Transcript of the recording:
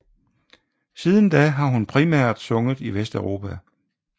Siden da har hun primært sunget i Vesteuropa